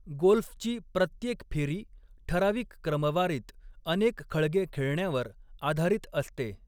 गोल्फची प्रत्येक फेरी ठराविक क्रमवारीत अनेक खळगे खेळण्यावर आधारित असते.